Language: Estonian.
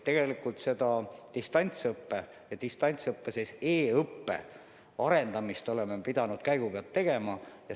Tegelikult me oleme distantsõppe ehk siis e-õppe arendamist pidanud käigu pealt tegema.